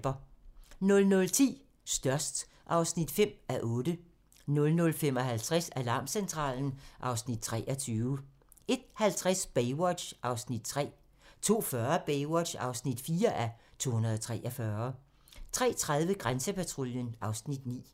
00:10: Størst (5:8) 00:55: Alarmcentralen (Afs. 23) 01:50: Baywatch (3:243) 02:40: Baywatch (4:243) 03:30: Grænsepatruljen (Afs. 9)